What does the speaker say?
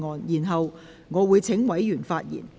然後，我會請委員發言。